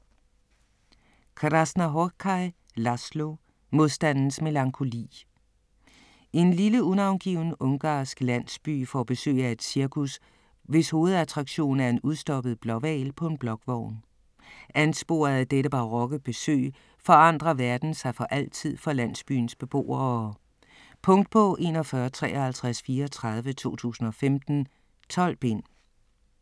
Krasznahorkai, László: Modstandens melankoli En lille unavngiven ungarsk landsby får besøg af et cirkus, hvis hovedattraktion er en udstoppet blåhval på en blokvogn. Ansporet af dette barokke besøg forandrer verden sig for altid for landsbyens beboere. Punktbog 415334 2015. 12 bind.